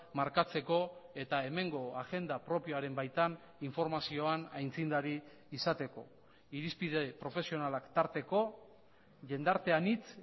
markatzeko eta hemengo agenda propioaren baitan informazioan aitzindari izateko irizpide profesionalak tarteko jendarte anitz